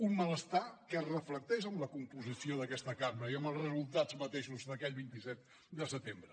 un malestar que es reflecteix en la composició d’aquesta cambra i amb els resultats mateixos d’aquell vint set de setembre